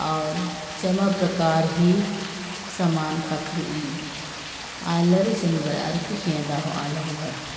और जमा प्रकार हे समान--